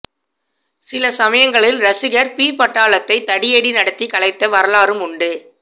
சில சமயங்களில் ரசிகர் பி பாட்டாளத்தை தடியடி நடத்தி கலைத்த வரலாறும் உண்டு